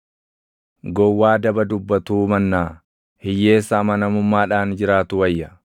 Gowwaa daba dubbatuu mannaa hiyyeessa amanamummaadhaan jiraatu wayya.